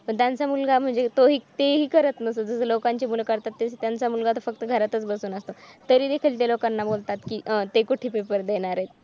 त्यांचा मुलगा म्हणजे तेही करत नसतो दिसे लोकांची मुलं करतात माझा मुलगा तर फक्त घरातील बसून असतो तरीदेखील ते लोकांना बोलतात की अह ते कुठे पेपर देणार आहे.